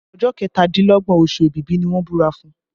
Ọjọ́ kẹtàdínlọ́gbọ̀n oṣù Èbìbí ni wọ́n búra fún